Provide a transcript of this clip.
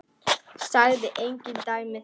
Sagði engin dæmi þess.